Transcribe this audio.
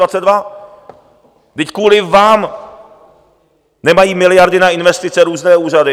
Vždyť kvůli vám nemají miliardy na investice různé úřady.